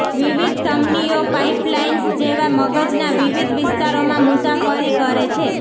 વિવિધ ધમનીઓ પાઇપલાઇન્સ જેવા મગજના વિવિધ વિસ્તારોમાં મુસાફરી કરે છે